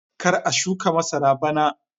Kar a shuka masara bana!